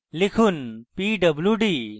লিখুন pwd